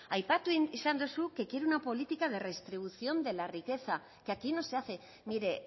aipatu izan duzu que quieren una política de redistribución de la riqueza que aquí no se hace mire